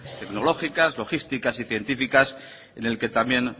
tecnológicas logísticas y científicas en el que también